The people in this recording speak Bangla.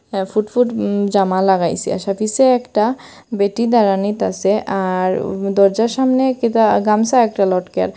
এ ফুটফুট উম জামা লাগাইসে আসা পিসে একটা বেটি দাঁড়ানিত আসে আর উ দরজার সামনে কী টা গামসা একটা লটকাল।